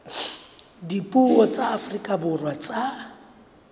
dipuo tsa afrika borwa tsa